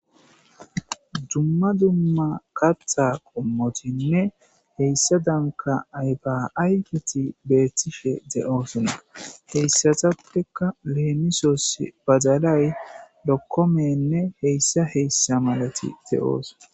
dumma dumma katha qommotinne heyssa danka aybaaygeti beettife de7oosonna heyssatappekka leemisos badalay lokkomenne heyssa heyssa malati de7oos